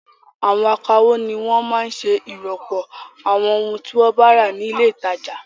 Àwọn akawó ni wọ́n máa ń ṣe ìròpọ̀ àwọn ohun tí wọ́n bá rà ní ilé-ìtajà.